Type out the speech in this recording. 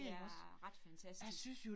Det er ret fantastisk